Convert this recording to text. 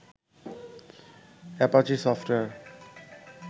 Apache software